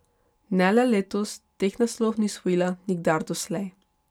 Ne le letos, teh naslovov ni osvojila nikdar doslej.